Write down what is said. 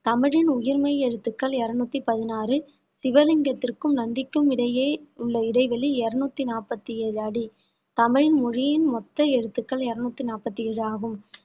தமிழின் உயிர்மெய் எழுத்துக்கள் இருநூத்தி பதினாறு சிவலிங்கத்திற்கும் நந்திக்கும் இடையே உள்ள இடைவெளி இருநூத்தி நாப்பத்தி ஏழு அடி தமிழ் மொழியின் மொத்த எழுத்துக்கள் இருநூத்தி நாப்பத்தி ஏழு ஆகும்